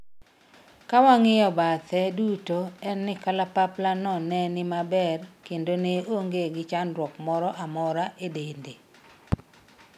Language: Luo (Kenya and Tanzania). kawang'iyo pathe duto, en ni kalapapla no ne ni maber kendo ne onge gi chandruok moro amora e dende